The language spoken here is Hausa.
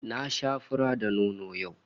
Na sha fura da nono yau